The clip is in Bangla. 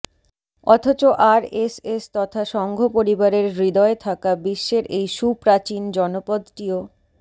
অথচ আরএসএস তথা সঙ্ঘ পরিবারের হৃদয়ে থাকা বিশ্বের এই সুপ্রাচীন জনপদটিও